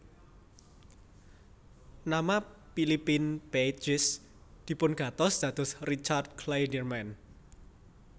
Nama Philippe Pagès dipungantos dados Richard Clayderman